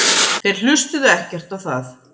Þeir hlustuðu ekkert á það.